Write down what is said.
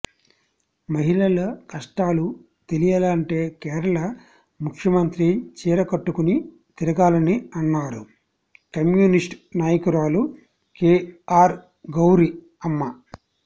మహిళల కష్టాలు తెలియాలంటే కేరళ ముఖ్యమంత్రి చీర కట్టుకుని తిరగాలని అన్నారు కమ్యూనిస్ట్ నాయకురాలు కేఆర్ గౌరి అమ్మ